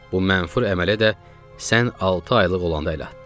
Bu məfhur əmələ də sən altı aylıq olanda əl atdı.